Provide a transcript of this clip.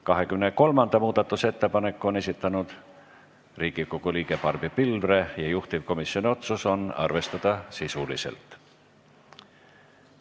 23. muudatusettepaneku on esitanud Riigikogu liige Barbi Pilvre ja juhtivkomisjoni otsus on arvestada sisuliselt.